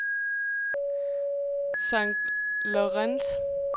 St. Lawrence